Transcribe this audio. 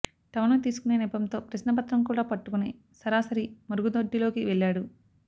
టవల్ను తీసుకునే నెపంతో ప్రశ్నపత్రం కూడా పట్టుకొని సరాసరి మరుగు దొడ్డిలోకి వెళ్ళాడు